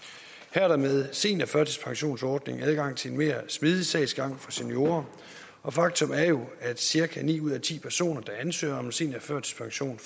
er der med seniorførtidspensionsordningen adgang til en mere smidig sagsgang for seniorer og faktum er jo at cirka ni ud af ti personer der ansøger om seniorførtidspension